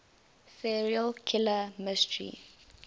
serial killer mystery